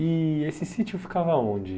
E esse sítio ficava onde?